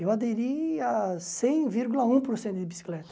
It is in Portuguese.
Eu aderi a cem vírgula um por cento de bicicleta.